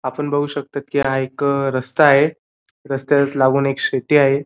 आपण बघू शकता की हा एक रस्ता आहे रस्त्यालाच लागून एक शेती आहे.